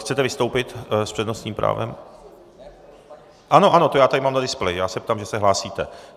Chcete vystoupit s přednostním právem? . Ano, ano, to já tady mám na displeji, já se ptám, že se hlásíte.